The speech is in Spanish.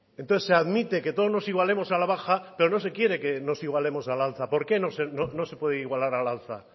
entonces se admite que todos nos igualemos a la baja pero no se quiere que nos igualemos a la alza por qué no se puede igualar a la alza